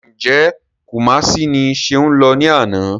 Ǹjẹ́ Kumasi ni Ṣeun lọ ní àná?